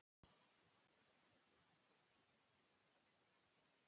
Konur og karlar í pelsum tala gegnum nefið.